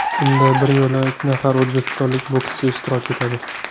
Unda bir yo‘la uch nafar o‘zbekistonlik bokschi ishtirok etadi.